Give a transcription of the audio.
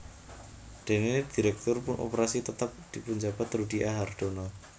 Dene dhiréktur operasi tetep dipunjabat Rudi A Hardono